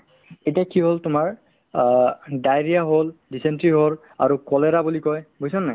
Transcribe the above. এতিয়া কি হ'ল তোমাৰ অ diarrhoea হ'ল , dysentery হ'ল আৰু cholera বুলি কই বুজিছানে নাই